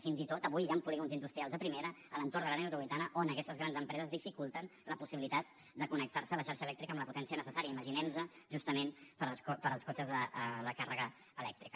fins i tot avui hi han polígons industrials de primera a l’entorn de l’àrea metropolitana on aquestes grans empreses dificulten la possibilitat de connectar se a la xarxa elèctrica amb la potència necessària imaginem nos justament per als cotxes la càrrega elèctrica